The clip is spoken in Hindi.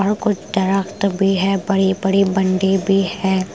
और कुछ दरख्त भी है बड़ी-बड़ी बंडी भी है ।